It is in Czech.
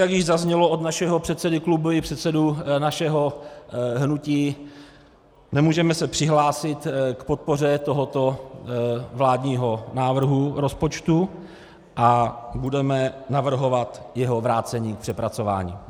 Jak již zaznělo od našeho předsedy klubu i předsedy našeho hnutí, nemůžeme se přihlásit k podpoře tohoto vládního návrhu rozpočtu a budeme navrhovat jeho vrácení k přepracování.